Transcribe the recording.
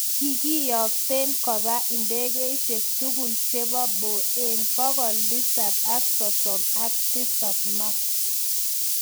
kagieten kopa indegeisieg tugul chepo Boeng 737 Max